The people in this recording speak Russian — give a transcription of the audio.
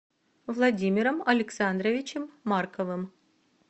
владимиром александровичем марковым